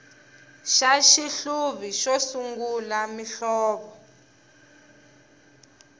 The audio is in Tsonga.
xa xihluvi xo sungula muhlovo